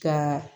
Ka